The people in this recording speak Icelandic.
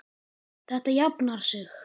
Þetta jafnar sig.